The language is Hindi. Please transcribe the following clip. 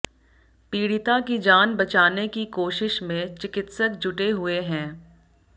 पीड़िता की जान बचाने की कोशिश में चिकित्सक जुटे हुए हैं